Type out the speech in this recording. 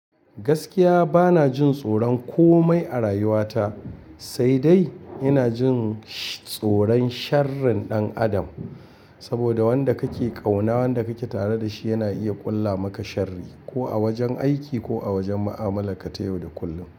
Gaskiya bana jin tsoron komai a rayuwa ta, sai dai ina jin tsoron sharrin ɗan adam. Saboda wanda kake kauna, wanda kake tare da shi yana iya ƙulla maka sharri ko a wajen aiki ko a wajen mu'amala kate yau da kullum.